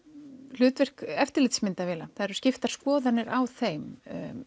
hlutverk eftirlitsmyndavéla það eru skiptar skoðanir á þeim